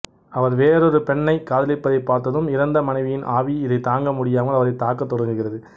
அவர் வேறொரு பெண்ணைக் காதலிப்பதைப் பார்த்ததும் இறந்த மனைவியின் ஆவி இதைத் தாங்க முடியாமல் அவரைத் தாக்கத் தொடங்குகிறது